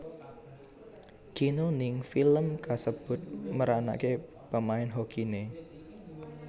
Keanu ning film kasebut meranaké pemain hokiné